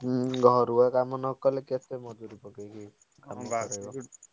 ହୁଁ ଘରୁ ଆଉ କାମ ନ କଲେ କେତେ ମଜୁରି ଖଟେଇକି।